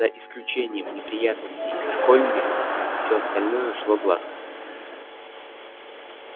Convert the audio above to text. за исключением неприятностей с колли всё остальное шло гладко